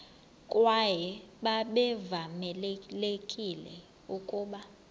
kwaye babevamelekile ukuba